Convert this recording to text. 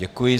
Děkuji.